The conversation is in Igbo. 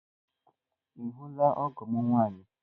Ị hụla ọgọ m nwaanyị?